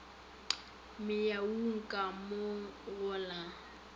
menyung ka mo go la